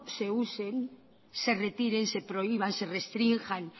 se usen se retiren se prohíban se restrinjan